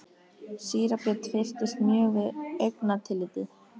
Síra Björn fyrtist mjög við augnatillitið.